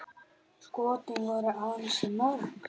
Skotin voru ansi mörg.